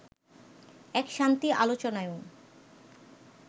এক শান্তি আলোচনায়ও